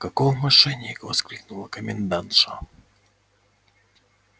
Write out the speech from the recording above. каков мошенник воскликнула комендантша